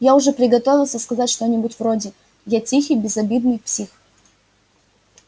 я уже приготовился сказать что-нибудь вроде я тихий безобидный псих